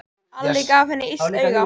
Alli gaf henni illt auga.